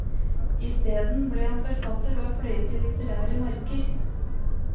Isteden ble han forfatter og har pløyet de litterære marker.